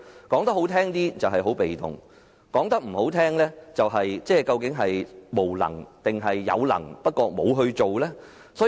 說得好聽一點，政府很被動，說得難聽一點，政府或是無能，或是有能而不做。